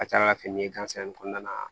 A ka ca ala fɛ fini gansan in kɔnɔna na